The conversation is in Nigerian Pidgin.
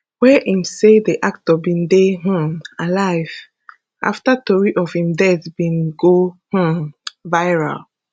wey im say di actor bin dey um alive afta tori of im death bin go um viral